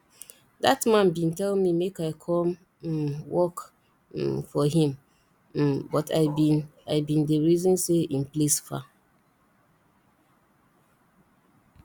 dat man bin tell me make i come um work um for him um but i bin i bin dey reason say im place far